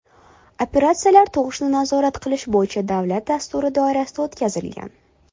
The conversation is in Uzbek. Operatsiyalar tug‘ishni nazorat qilish bo‘yicha davlat dasturi doirasida o‘tkazilgan.